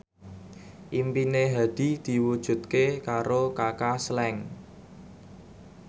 impine Hadi diwujudke karo Kaka Slank